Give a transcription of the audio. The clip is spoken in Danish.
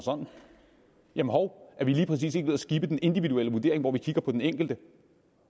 jamen hov er vi lige præcis ved at skippe den individuelle vurdering hvor vi kigger på den enkelte